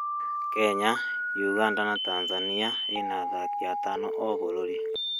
Kenya, Uganda na Tanzania ĩna athakĩ atano o bũrũri